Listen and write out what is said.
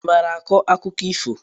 I maara akọ akụkọ ifo?